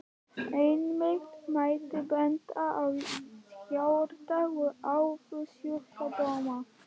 Einnig mætti benda á hjarta- og æðasjúkdóma.